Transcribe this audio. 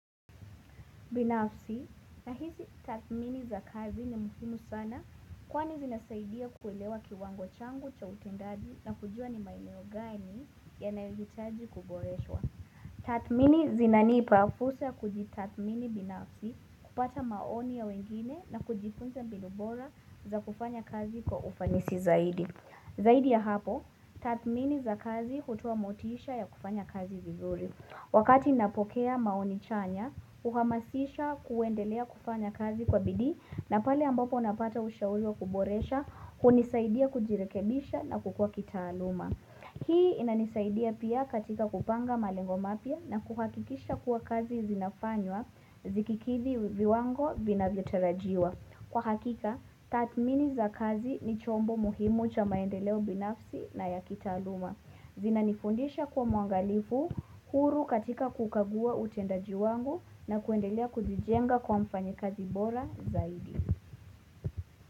Binafsi nahisi tathmini za kazi ni muhimu sana kwani zinasaidia kuelewa kiwango changu cha utendaji na kujua ni maeneo gani yanayohitaji kuboreshwa. Tathmini zinanipa fursa ya kujitathmini binafsi kupata maoni ya wengine na kujifunza mbinu bora za kufanya kazi kwa ufanisi zaidi. Zaidi ya hapo, tathmini za kazi hutoa motisha ya kufanya kazi vizuri. Wakati ninapokea maoni chanya, huhamasisha kuendelea kufanya kazi kwa bidii na pale ambapo napata ushauri wa kuboresha hunisaidia kujirekebisha na kukua kitaaluma. Hii inanisaidia pia katika kupanga malengo mapya na kuhakikisha kuwa kazi zinafanywa zikikidhi viwango vinavyotarajiwa. Kwa hakika, tathmini za kazi ni chombo muhimu cha maendeleo binafsi na ya kitaaluma. Zinanifundisha kwa mwangalifu, huru katika kukagua utendaji wangu na kuendelea kujijenga kuwa mfanyikazi bora zaidi.